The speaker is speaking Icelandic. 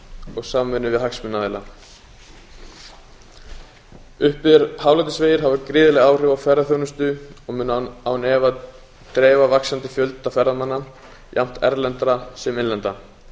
og samvinnu við hagsmunaaðila uppbyggðir hálendisvegir hafa gríðarleg áhrif á ferðaþjónustu og munu án efa dreifa vaxandi fjölda ferðamanna jafnt erlendra sem innlendra